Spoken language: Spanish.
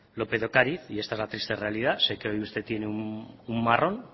lópez de ocariz y esta es la triste realidad sé que hoy usted tiene un marrón